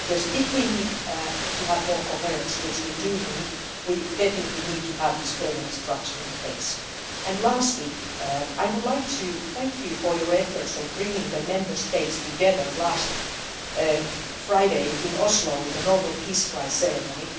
If we need to have more coherence which we do we definitely need to have this permanent structure in place. Lastly, I would like to thank you for your efforts in bringing the Member States together last Friday in Oslo for the Nobel Peace Prize ceremony.